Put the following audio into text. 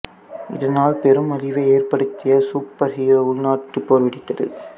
இதனால் பெரும் அழிவை ஏற்படுத்திய சூப்பர் ஹீரோ உள்நாட்டுப் போர் வெடித்தது